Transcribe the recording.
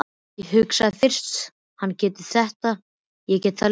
Ég hugsaði, fyrst hann getur þetta get ég það líka.